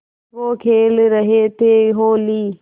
वो खेल रहे थे होली